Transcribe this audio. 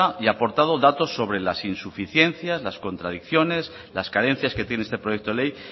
y aportado datos sobre las insuficiencias las contradicciones las carencias que tiene este proyecto de ley